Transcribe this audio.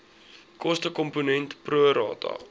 kostekomponent pro rata